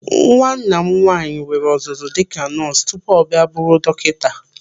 Nwanna m nwaanyị nwere ọzụzụ dịka nọọsụ tupu ọ bịa bụrụ dọkịta.